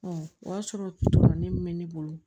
o y'a sɔrɔ ne min bɛ ne bolo